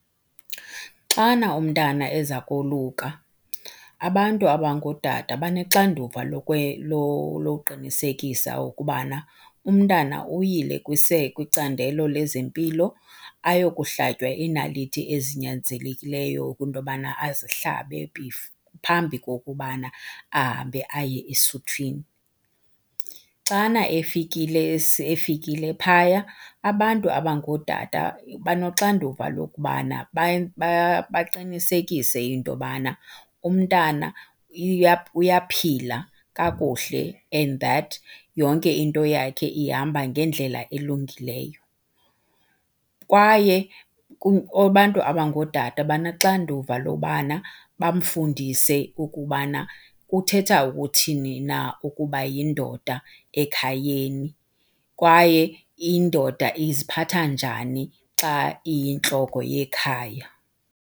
Xana umntana eza koluka abantu abangootata banexanduva loqinisekisa ukubana umntana uyile kwicandelo lezempilo ayokuhlatywa iinaliti ezinyanzelekileyo kwinto obana azihlabe phambi kokubana ahambe aye esuthwini. Xana efikile efikile phaya, abantu abangootata banoxanduva lokubana baqinisekise into yobana umntana uyaphila kakuhle and that yonke into yakhe ihamba ngendlela elungileyo. Kwaye abantu abangootata banexanduva lobana bamfundise ukubana kuthetha ukuthini na ukuba yindoda ekhayeni kwaye indoda iziphatha njani xa iyintloko yekhaya.